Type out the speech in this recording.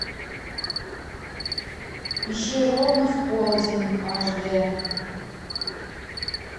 ищи ровно в полдень аш дэ